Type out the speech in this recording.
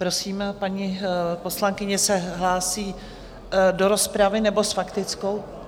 Prosím, paní poslankyně se hlásí do rozpravy nebo s faktickou?